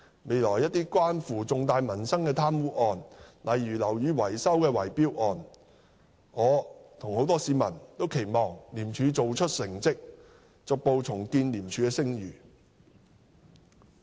未來在一些關乎重大民生的貪污案，例如樓宇維修的圍標案，我與市民大眾均期望廉署做出成績，逐步重建廉署的聲譽。